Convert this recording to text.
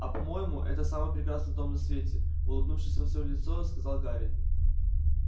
а по-моему это самый прекрасный дом на свете улыбнувшись во все лицо сказал гарри